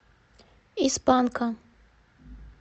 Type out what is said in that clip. из панка